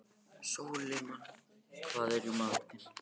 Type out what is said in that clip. Sólimann, hvað er í matinn?